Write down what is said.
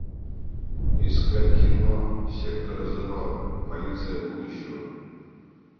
искать кино сектор зеро полиция будущего